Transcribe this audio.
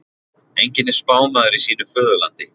Enginn er spámaður í sínu föðurlandi.